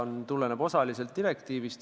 See tuleneb osaliselt direktiivist.